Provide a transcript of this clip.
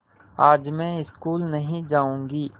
आज मैं स्कूल नहीं जाऊँगी